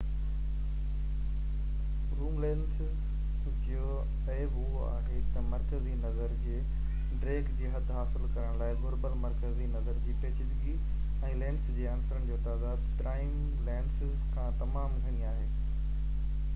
zoom lenses جو عيب اهو آهي تہ مرڪزي نظر جي ڊيگهہ جي حد حاصل ڪرڻ لاءِ گهربل مرڪزي نظر جي پيچيدگي ۽ لينس جي عنصرن جي تعداد پرائم لينسز کان تمام گهڻي آهي